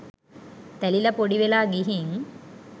තැලිලා පොඩිවෙලා ගිහින්.